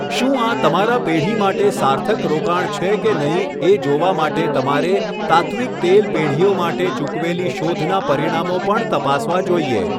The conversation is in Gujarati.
શું આ તમારા પેઢી માટે સાર્થક રોકાણ છે કે નહીં એ જોવા માટે તમારે તાત્ત્વિક તેલ પેઢીઓ માટે ચૂકવેલી શોધના પરિણામો પણ તપાસવા જોઇએ.